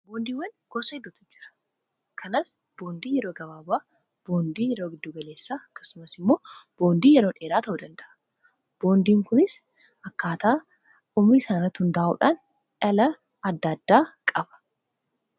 boondiiwwan gosa heddutu jira kanas boondii yeroo gabaabaa, boondii yeroo giddu galeessaa, akasumas immoo boondii yeroon dheeraa ta'uu danda'a boondiin kunis akkaataa umrii isaanirratti hundaa'uudhaan dhala adda addaa qaba.